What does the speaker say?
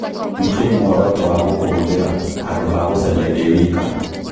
nĩ kĩĩ mũoroto wa gũkũhũthira handũ ha gũcarîa ndĩ wĩka